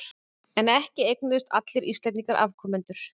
En ekki eignuðust allir Íslendingar afkomendur.